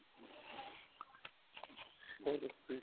ਹੋਰ ਦੱਸੋ ਜੀ